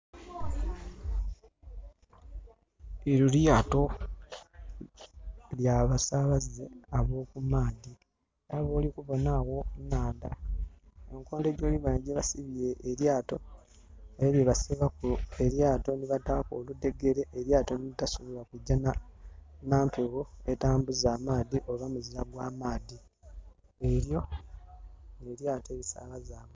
Elyo lyaato lya basaabaze aba oku maadhi, nga bwoli kubonha agho ku nhandha. Engeli kumbali bwebasibye elyaato, elyo lyebasibaku elyaato nhi bataaku oludhegere elyaato nhi litasobola kugya n'ampegho etambuza amaadhi oba muzira gwa maadhi. Elyo n'elyaato e lisaabaza abantu.